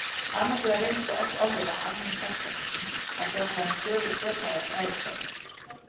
Annars vegar reynist það oft ofviða almennum sagnfræðingum að fjalla um sögu sérhæfðra fræðigreina.